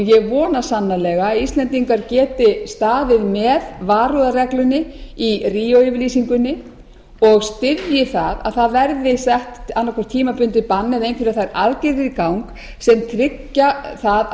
ég vona sannarlega að íslendingar geti staðið með varúðarreglunni í ríó yfirlýsingunni og styðji það að það verði sett annað hvort tímabundið bann eða einhverjar þær aðgerðir í gang sem tryggja það að